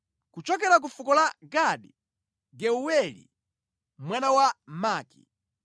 kuchokera ku fuko la Gadi, Geuweli mwana wa Maki.